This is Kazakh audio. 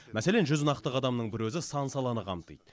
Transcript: мәселен жүз нақты қадамның бір өзі сан саланы қамтиды